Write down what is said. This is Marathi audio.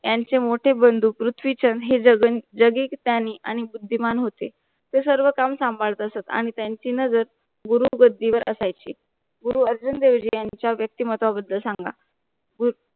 यांचे मोठे बंधू पृथ्वीछंद हे जगन जगिक त्यांनी आणि बुद्धिमान होते. ते सर्व काम सांभाळ असंत आणि त्यांची नजर गुरु गद्दी वर असायची. गुरु अर्जुन देवजी यांचा व्यक्तिमत्व बद्दल सांगा. गुरु